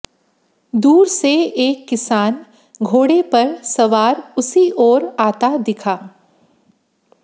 दूर से एक किसान घोड़े पर सवार उसी ओर आता दिखा